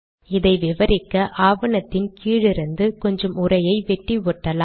இதை விவரிக்க ஆவணத்தின் கீழிருந்து கொஞ்சம் உரையை வெட்டி ஒட்டலாம்